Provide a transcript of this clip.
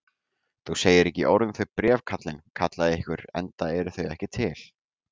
Þú segir ekki orð um þau bréf, kallinn, kallaði einhver,-enda eru þau ekki til!